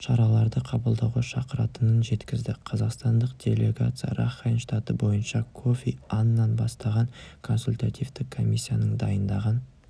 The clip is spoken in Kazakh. шараларды қабылдауға шақыратынын жеткізді қазақстандық делегация ракхайн штаты бойынша кофи аннан бастаған консультативтік комиссияның дайындаған